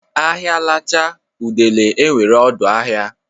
Ahịa lachaa udele enwere ọdụ ahịa.